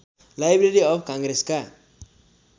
library of काङ्ग्रेसका